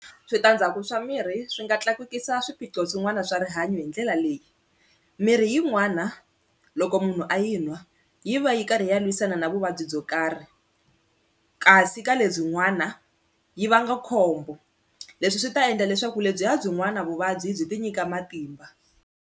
Switandzhaku swa mirhi swi nga tlakusa swiphiqo swin'wana swa rihanyo hi ndlela leyi mirhi yin'wana loko munhu a yi nwa yi va yi karhi yi ya lwisana na vuvabyi byo karhi kasi ka lebyi n'wana yi vanga khombo leswi swi ta endla leswaku lebyiya byin'wana vuvabyi byi ti nyika matimba.